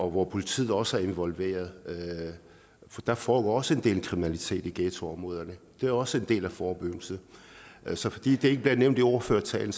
hvor politiet også er involveret for der foregår også en del kriminalitet i ghettoområderne det er også en del af forebyggelsen så fordi det ikke bliver nævnt i ordførertalen